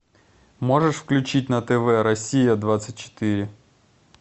можешь включить на тв россия двадцать четыре